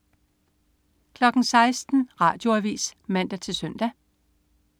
16.00 Radioavis (man-søn)